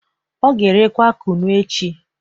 O ga-erekwa kunu echi